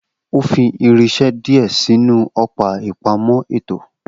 O fi irinse dìé sinu õpá ìpámõ ètó